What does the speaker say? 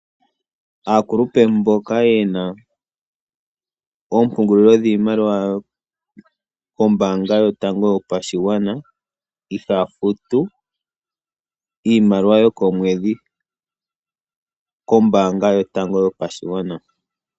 Aakulupe mboka yena ompungulilo dhiimaliwa mboka yena ombaanga yotango yoshigwana, ihaya futu iimaliwa yokomwedhi kombaanga oyo tuu ndjoka.